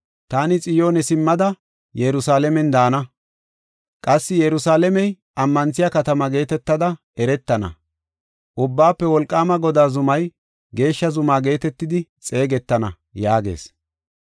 Taani Xiyoone simmada Yerusalaamen daana. Qassi Yerusalaamey ammanthiya katama geetetada eretana. Ubbaafe Wolqaama Godaa zumay Geeshsha Zuma geetetidi xeegetana” yaagees.